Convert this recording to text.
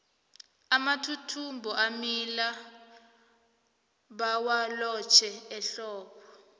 amathuthumbo amila bawalotjhe ehlobo